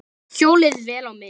Hjólið, vel á minnst.